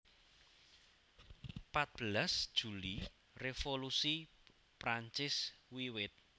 Patbelas Juli Revolusi Prancis wiwit